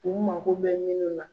U mako bɛ minnu na.